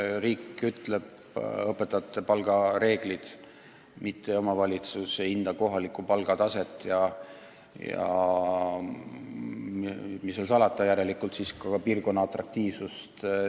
Riik kehtestab õpetajate palga reeglid, mitte omavalitsus, lähtudes üldisest kohalikust palgatasemest.